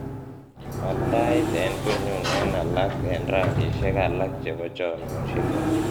wal tait en konyun eng alak en rangisiek alak chepo chomyosiek